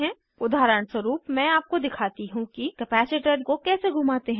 उदाहरणस्वरूप मैं आपको दिखाती हूँ कि कपैसिटर संधारित्र को कैसे घूमाते हैं